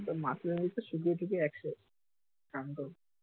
মাছরাঙ্গিতো থেকে সিধুহাটিতো একশো